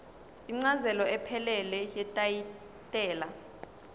incazelo ephelele yetayitela